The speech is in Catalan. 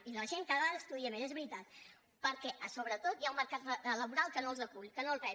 i la gent cada vegada estudia més és veritat perquè sobretot hi ha un mercat laboral que no els acull que no els rep